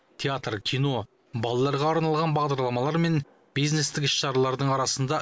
театр кино балаларға арналған бағдарламалар мен бизнестік іс шаралардың арасында